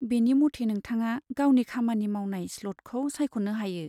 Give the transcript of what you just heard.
बेनि मथै नोंथाङा गावनि खामानि मावनाय स्लटखौ सायख'नो हायो।